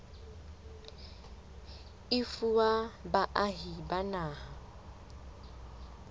e fuwa baahi ba naha